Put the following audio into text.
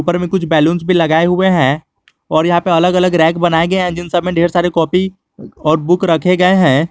उपर में कुछ बैलूंस भी लगाए हुए हैं और यहां पे अलग अलग रैंक बनाए गए हैं जिन सब में ढेर सारे कॉपी और बुक रखे गए हैं।